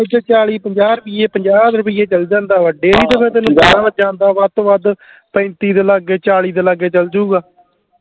ਪਿੰਡ ਚ ਚਾਲੀ ਪੰਜਾਹ ਰੁਪਈਏ ਪੰਜਾਹ ਰੁਪਈਏ ਚੱਲ ਜਾਂਦਾ ਵਾ ਡੇਅਰੀ ਚ ਆਹੋ ਜਾਂਦਾ ਵਾ ਵੱਧ ਤੋਂ ਵੱਧ ਪੈਂਤੀ ਦੇ ਲਾਗੇ ਚਾਲੀ ਦੇ ਲਾਗੇ ਚੱਲ ਜੁਗਾ